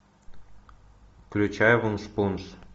включай вуншпунш